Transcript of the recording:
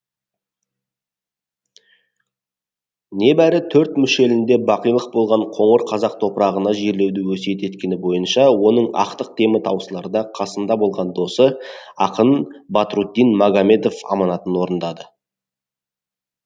небәрі төрт мүшелінде бақилық болған қоңыр қазақ топырағына жерлеуді өсиет еткені бойынша оның ақтық демі таусыларда қасында болған досы ақын бадрутдин магомедов аманатын орындады